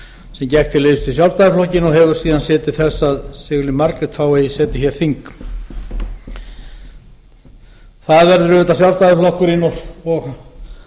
liðs við sjálfstæðisflokkinn og hefur síðan séð til þess að sigurlín margrét fái eigi setið hér þing það verður auðvitað sjálfstæðisflokkurinn og